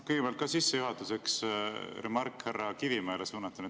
Kõigepealt sissejuhatuseks remark härra Kivimäele suunatuna.